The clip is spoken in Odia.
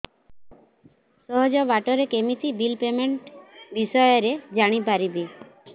ସହଜ ବାଟ ରେ କେମିତି ବିଲ୍ ପେମେଣ୍ଟ ବିଷୟ ରେ ଜାଣି ପାରିବି